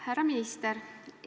Härra minister!